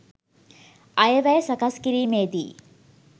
අයවැය සකස් කිරීමේදී